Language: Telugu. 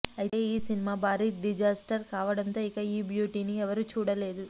అయితే ఈ సినిమా భారీ డిజాస్టర్ కావడంతో ఇక ఈ బ్యూటీని ఎవరూ చూడలేదు